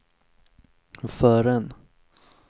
förrän